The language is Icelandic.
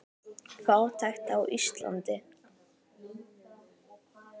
Fátækt á Íslandi